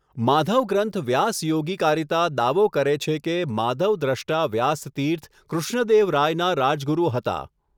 માધવ ગ્રંથ વ્યાસયોગીકારિતા દાવો કરે છે કે માધવ દ્રષ્ટા વ્યાસતીર્થ કૃષ્ણદેવ રાયના રાજગુરુ હતા.